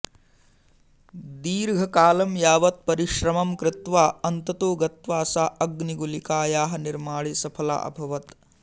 दीर्घकालं यावत् परिश्रमं कृत्वा अन्ततो गत्वा सा अग्निगुलिकायाः निर्माणे सफला अभवत्